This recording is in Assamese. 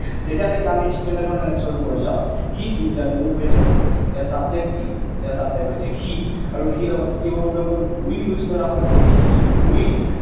এতিয়া নেকি আমি ঠিক তেনে ধৰণেৰে next ৰ টো কৰি চাওঁ। সি বিদ্যালয়লৈ গৈ থাকিব। ইয়াত subject কি? ইয়াৰ subject হৈছে সি, আৰু সিৰ লগত কি হব বন্ধুসকল? Will use কৰা হয়, গতিকে he will